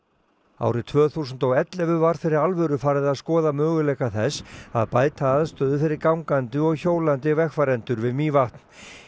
árið tvö þúsund og ellefu var fyrir alvöru farið að skoða möguleika þess að bæta aðstöðu fyrir gangandi og hjólandi vegfarendur við Mývatn